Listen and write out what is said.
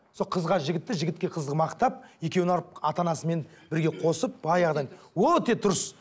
сол қызға жігітті жігітке қызды мақтап екеуін алып ана анасымен бірге қосып баяғыдан өте дұрыс